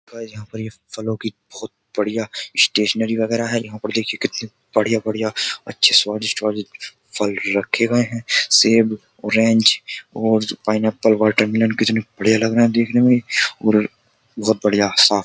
Guys यहाँ पर ये फलों की बहोत बढियां स्टेशनरी वगेरा है। यहाँ पर देखिये कितनी बढियां बढियां अच्छे स्वादिष्ट स्वादिष्ट फल रखे गए हैं। सेब ऑरेंज और पाइनएप्पल वाटरमेलन कितने बढिया लग रहे हैं देखने में और बहुत बढिया सा --